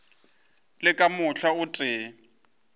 le ka mohla o tee